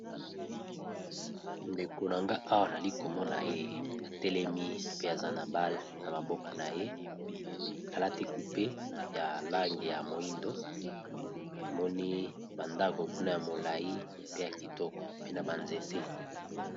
Ndeko Nagai Awa nali komona Awa atelemi Aza n'a bale n'a mabokoaye Alati jupe ya moyindo pembeni kuna nazomona ba nzete